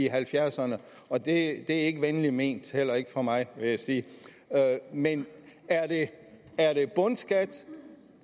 halvfjerdserne og det er ikke venligt ment heller ikke fra mig vil jeg sige men er det bundskat